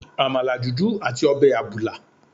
Àmàlà dúdú àti ọbẹ̀ àbùlà.